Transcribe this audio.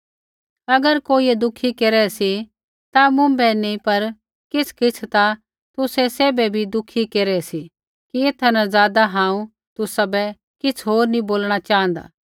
अगर कोइयै दुःखी केरै सी ता मुँभै ही नी पर किछ़किछ़ ता तुसै सैभ बी दुःखी केरै सी कि एथा न ज़ादा हांऊँ तुसाबै किछ़ होर नी बोलणा च़ाँहदा